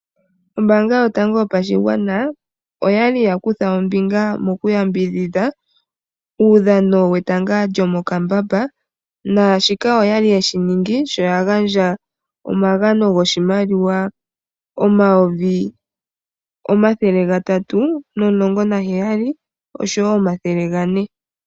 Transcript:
Ombanga yotango yopashigwana oyali yakutha ombinga mokuyambidhidha uudhano wetanga lyomokambamba nashika oyali yeshi ningi shoya gandja omagano goshimaliwa omayovi omathele gatatu nomulongo naheyai nomathele gane.